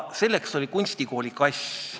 Selleks oli kunstikooli kass.